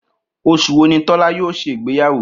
Os̩ù wo ni Tó̩lá̩ yóò s̩e ìgbéyàwó?